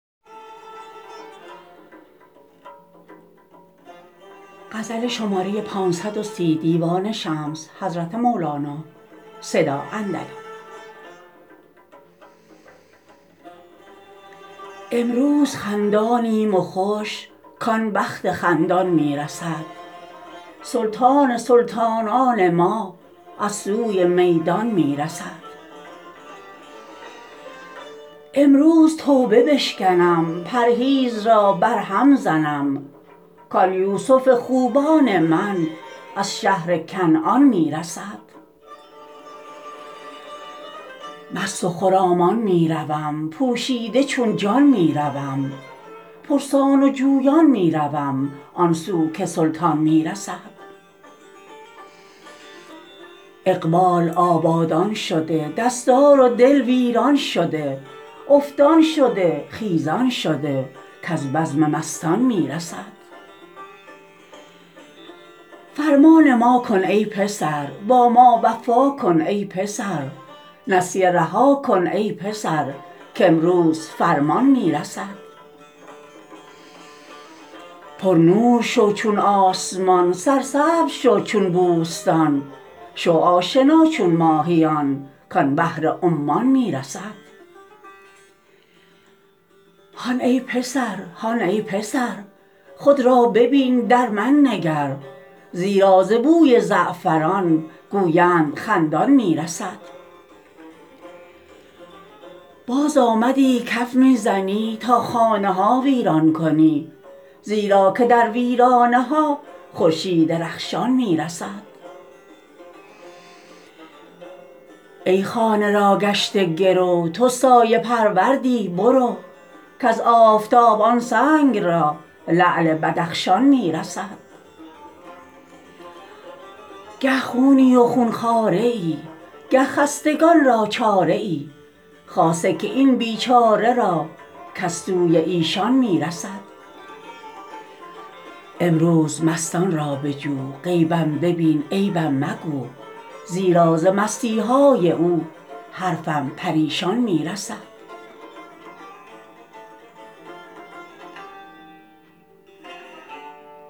امروز خندانیم و خوش کان بخت خندان می رسد سلطان سلطانان ما از سوی میدان می رسد امروز توبه بشکنم پرهیز را برهم زنم کان یوسف خوبان من از شهر کنعان می رسد مست و خرامان می روم پوشیده چون جان می روم پرسان و جویان می روم آن سو که سلطان می رسد اقبال آبادان شده دستار دل ویران شده افتان شده خیزان شده کز بزم مستان می رسد فرمان ما کن ای پسر با ما وفا کن ای پسر نسیه رها کن ای پسر کامروز فرمان می رسد پرنور شو چون آسمان سرسبزه شو چون بوستان شو آشنا چون ماهیان کان بحر عمان می رسد هان ای پسر هان ای پسر خود را ببین در من نگر زیرا ز بوی زعفران گوینده خندان می رسد بازآمدی کف می زنی تا خانه ها ویران کنی زیرا که در ویرانه ها خورشید رخشان می رسد ای خانه را گشته گرو تو سایه پروردی برو کز آفتاب آن سنگ را لعل بدخشان می رسد گه خونی و خون خواره ای گه خستگان را چاره ای خاصه که این بیچاره را کز سوی ایشان می رسد امروز مستان را بجو غیبم ببین عیبم مگو زیرا ز مستی های او حرفم پریشان می رسد